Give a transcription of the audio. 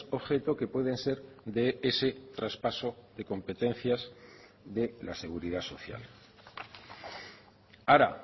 objeto que pueden ser de ese traspaso de competencias de la seguridad social ahora